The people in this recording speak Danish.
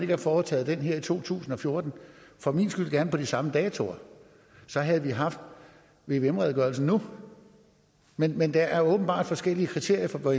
have foretaget den her i to tusind og fjorten og for min skyld gerne på de samme datoer så havde vi haft vvm redegørelsen nu men men der er åbenbart forskellige kriterier for